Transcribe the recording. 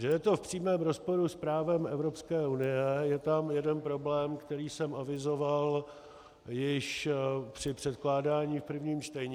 Že je to v přímém rozporu s právem Evropské unie - je tam jeden problém, který jsem avizoval již při předkládání v prvním čtení.